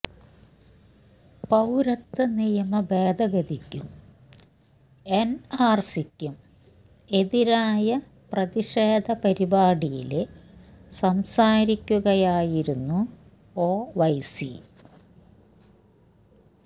പൌരത്വ നിയമ ഭേദഗതിക്കും എന്ആര്സിക്കും എതിരായ പ്രതിഷേധ പരിപാടിയില് സംസാരിക്കുകയായിരുന്നു ഒവൈസി